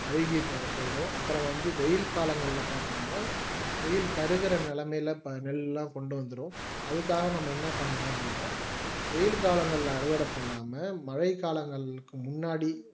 அழுகி போயிடும் அப்புறம் வந்து வெயில் காலங்களில் பார்த்தீங்கன்னா வெயில் கருகிற நிலைமையில எல்லாம் கொண்டு வந்துடும் அதுக்காக நம்ம என்ன பண்ணுவோம் அப்படின்னா வெயில் காலங்கள்ல அறுவடை பண்ணாம மழை காலங்களுக்கு முன்னாடி